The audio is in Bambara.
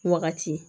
Wagati